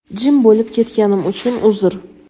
Jim bo‘lib ketganim uchun uzr.